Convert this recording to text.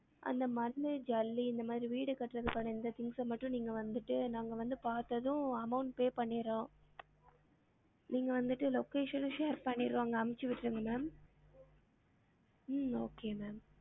அந்த மண்ணு ஜல்லி இந்த மாரி வீடு கட்டுரதுக்கான இந்த things மட்டும் நீங்க வந்துட்டு நாங்க வந்து பாத்ததும் amount pay பண்ணிறோம் நீங்க வந்திட்டு location share பண்ணிருவாங்க அமிச்சி விட்ருங்க ma'am உம் okay ma'am